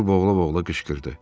Artur boğula-boğula qışqırdı.